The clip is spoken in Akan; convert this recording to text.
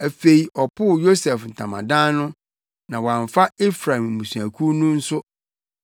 Afei ɔpoo Yosef ntamadan no, na wamfa Efraim abusuakuw no nso;